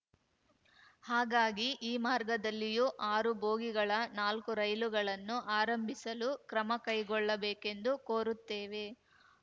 ಹಾಗಾಗಿ ಈ ಮಾರ್ಗದಲ್ಲಿಯೂ ಆರು ಬೋಗಿಗಳ ನಾಲ್ಕು ರೈಲುಗಳನ್ನು ಆರಂಬಿಸಲು ಕ್ರಮ ಕೈಗೊಳ್ಳಬೇಕೆಂದು ಕೋರುತ್ತೇವೆ